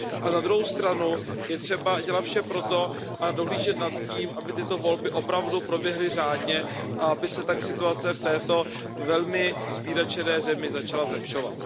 Na druhou stranu je třeba dělat vše pro to a dohlížet na to, aby tyto volby opravdu proběhly řádně a aby se tak situace v této velmi zbídačené zemi začala zlepšovat.